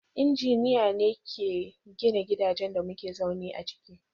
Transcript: Injiniya ne ke gina gidajen da muke zaune a ciki.